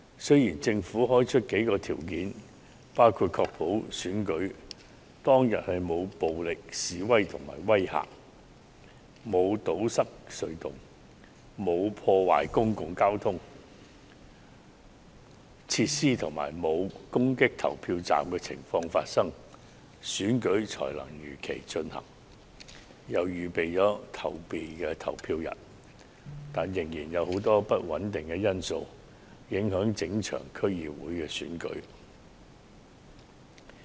雖然政府表示，在確保選舉當天沒有出現暴力示威或威嚇、沒有堵塞隧道、沒有破壞公共交通工具設施及沒有攻擊投票站等行為的情況下，選舉才會如期舉行，當局並已預定了後備投票日，但實際上仍有許多不穩定因素會影響整場區議會選舉。